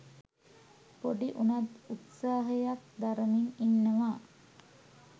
පොඩි උණත් උත්සහයක් දරමින් ඉන්නවා.